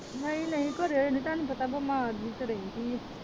ਨਹੀਂ ਨਹੀਂ ਘਰੇ ਹੁੰਦੀ ਤੁਹਾਨੂੰ ਪਤਾ ਬਿਮਾਰ ਜੀ ਤਾ ਰਹਿੰਦੀ ਆ।